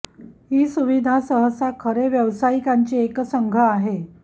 ही सुविधा सहसा खरे व्यावसायिकांची एक संघ आहे